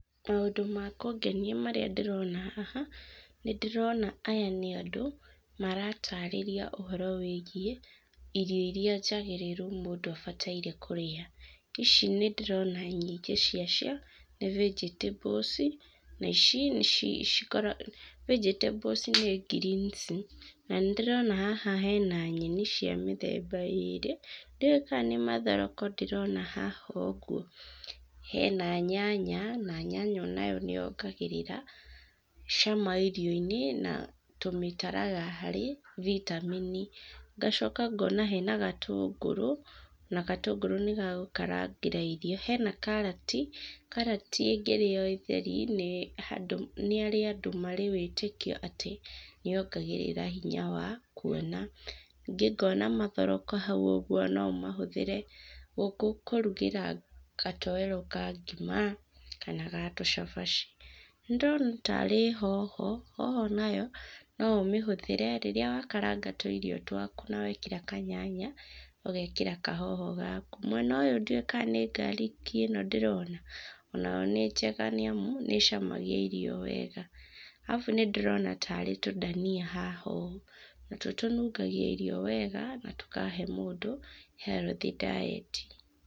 Maũndũ ma kũngenia marĩa ndĩrona haha, nĩ ndĩrona aya nĩ andũ marataarĩria ũhoro wĩgiĩ irio iria njagĩrĩru irĩa njagĩrĩru mũndũ abataire kũrĩa. Ici nĩ ndĩrona nyingĩ cia cio nĩ vegetables. Na ici nĩ cikoragwo, vegetables nĩ greens na nĩ ndĩrona haha hena nyeni cia mĩthemba ĩĩrĩ, ndiũĩ kana nĩ mathoroko ndĩrona haha ũguo. Hena nyanya, na nyanya nayo nĩ yongagĩrĩra cama irio-inĩ na tũmitaraga harĩ vitamin. Ngacoka ngoona hena gatũngũrũ, na gatũngũrũ nĩ ga gũkarangĩra irio. Hena karati, karati ĩngĩrĩo ĩ theri, nĩ harĩ andũ marĩ wĩtĩkio atĩ nĩ yongagĩrĩra hinya wa kũona. Ningĩ ngoona mathoroko hau ũguo, no ũmahũthĩre kũrugĩra katoero ka ngima kana ga tũcabaci. Nĩ ndĩrona taarĩ hoho, hoho nayo no ũmĩhũthĩre rĩrĩa wa karanga tũirio twaku, na wekĩra kanyanya, ũgeekĩra kahoho gaku. Mwena ũyũ ndiũĩ ka nĩ garlic ĩno ndĩrona, o nayo nĩ njega nĩ amu, nĩ ĩcamagia irio wega. Arabu nĩ ndĩrona taarĩ tũdania haha ũũ, natuo tũnungagia irio wega na tũkahe mũndũ healthy diet.